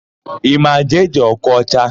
Ị ma Jee-Jee Okocha?